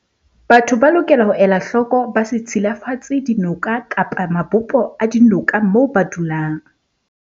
Batho ba lokela ho ela hloko ba se tshilafatse dinoka kapa mabopo a dinoka mo ba dulang.